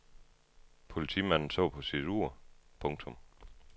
Politimanden så på sit ur. punktum